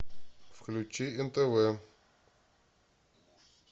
включи нтв